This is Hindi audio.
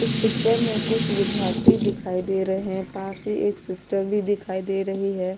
इस पिक्चर में कुछ विद्यार्थी दिखायी दे रहे है पास ही एक सिस्टर भी दिखायी दे रही है।